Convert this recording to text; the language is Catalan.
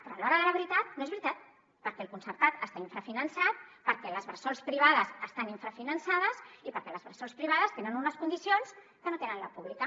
però a l’hora de la veritat no és veritat perquè el concertat està infrafinançat perquè les bressols privades estan infrafinançades i perquè les bressols privades tenen unes condicions que no té la pública